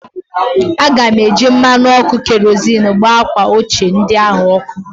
Aga m eji mmanụ ọkụ kerozịn gbaa akwa ochie ndị ahụ ọkụ